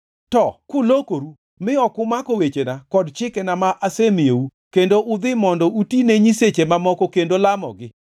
“To kulokoru mi ok umako wechena kod chikena ma asemiyou kendo udhi mondo uti ne nyiseche mamoko kendo lamogi,